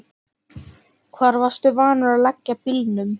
Hvar varstu vanur að leggja bílnum?